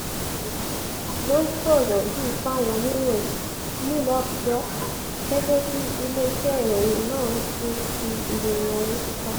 ló sọ̀rọ̀ yìí fáwọn oníròyìn nílùú àbújá gẹ́gẹ́ bíi iléeṣẹ́ ìròyìn nan ṣe fi ìròyìn ọ̀hún síta